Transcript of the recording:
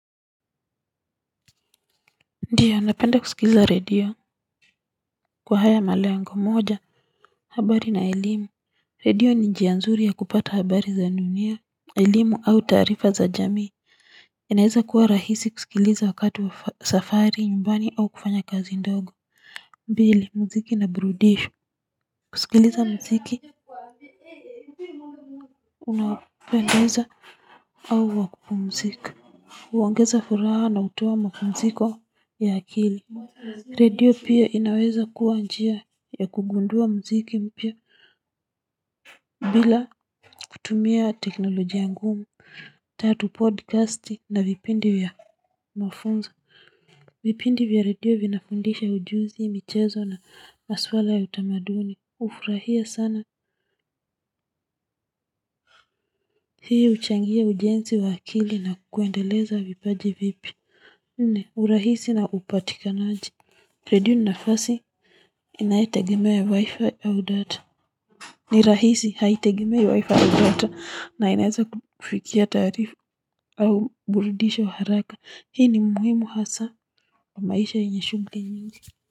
Ndiyo napenda kusikiliza radio kwa haya malengo moja habari na elimu radio ni njianzuri ya kupata habari za dunia elimu au tarifa za jamii inaeza kuwa rahisi kusikiliza wakati wa safari nyumbani au kufanya kazi ndogo mbili mziki na brudisha kusikiliza mziki unapendeza au wakupumzika uongeza furaha na utuwa mpumziko ya akili redio pia inaweza kuwa njia ya kugundua mziki mpia bila kutumia teknolojia ngumu. Tatu podcasti na vipindi ya mafunzo. Vipindi vya radio vinafundisha ujuzi michezo na maswala ya utamaduni. Ufurahia sana. Hii uchangia ujensi wa akili na kuendeleza vipaji vipia nne urahisi na upatikanaji redio ni nafasi inayotegemea wifi au data ni rahisi haitegemei wifi au data na inaeza kukufikia taarifa au burudisho haraka. Hii ni muhimu hasaa wa maisha yenye shughuli nyingi.